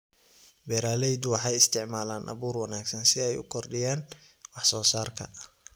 Beeraleydu waxay isticmaalaan abuur wanaagsan si ay u kordhiyaan wax-soo-saarka.